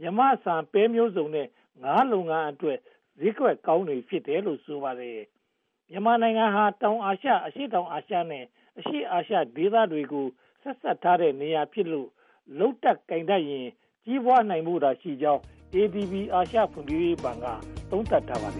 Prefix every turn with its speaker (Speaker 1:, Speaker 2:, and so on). Speaker 1: မြန်မာဆန်၊ ပဲမျိုးစုံနဲ့ ငါးလုပ်ငန်းအတွက် ဈေးကွက်ကောင်းတွေ ဖြစ်တယ်လို့ ဆိုပါတယ်။ မြန်မာနိုင်ငံဟာ တောင်အာရှ၊ အရှေ့တောင်အာရှနဲ့ အရှေ့အာရှဒေသတွေကို ဆက်စပ်ထားတဲ့နေရာဖြစ်လို့ လုပ်တတ်ကိုင်တတ်ရင် ကြီးပွားဖို့သာရှိကြောင်း ADB အာရှဖွံ့ဖြိုးရေးဘဏ်က သုံးသပ်ထားပါတယ်